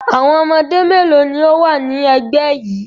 Àwọn ọmọdé mélòó ni ó wà ní ẹgbẹ́ yìí?